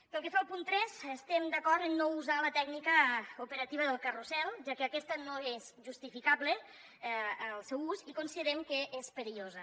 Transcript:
pel que fa al punt tres estem d’acord a no usar la tècnica operativa del carrusel ja que aquesta no és justificable el seu ús i considerem que és perillosa